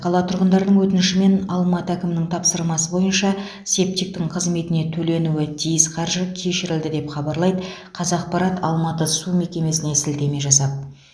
қала тұрғындарының өтініші мен алматы әкімінің тапсырмасы бойынша септиктің қызметіне төленуі тиіс қаржы кешірілді деп хабарлайды қазақпарат алматы су мекемесіне сілтеме жасап